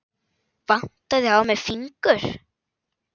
Vantaði á mig fingur?